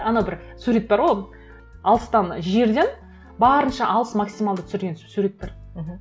ана бір сурет бар ғой алыстан жерден барынша алыс максималды түсірген сурет бар мхм